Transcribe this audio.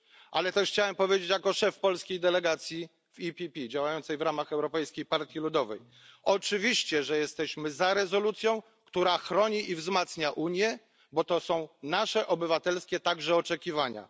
Ale też chciałem powiedzieć jako szef polskiej delegacji PPE działającej w ramach Europejskiej Partii Ludowej oczywiście, że jesteśmy za rezolucją, która chroni i wzmacnia Unię, bo to są nasze obywatelskie także oczekiwania.